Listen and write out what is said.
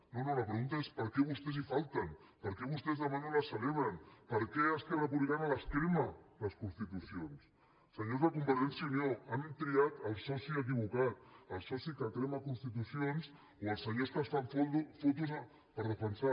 no no la pregunta és per què vostès hi falten per què vostès demà no la celebren per què esquerra republicana les crema les constitucions senyors de convergència i unió han triat el soci equivocat el soci que crema constitucions o els senyors que es fan fotos per defensar